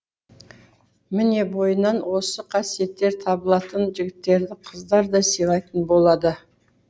міне бойынан осы қасиеттер табылатын жігіттерді қыздар да сыйлайтын болады